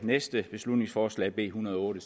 næste beslutningsforslag b en hundrede og otte